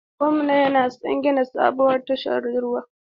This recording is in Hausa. Gwamna yana son gina sabuwar tashar ruwa.